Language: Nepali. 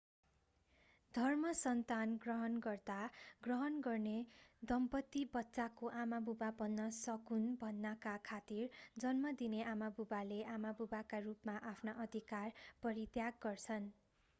धर्मसन्तान ग्रहण गर्दा ग्रहण गर्ने दम्पत्ति बच्चाको आमाबुबा बन्न सकून् भन्नाका खातिर जन्म दिने आमाबुवाले आमाबुबाका रूपमा आफ्ना अधिकार परित्याग गर्छन्